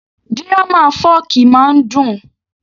Dírámà fọ́ọ̀kì máa ń dùn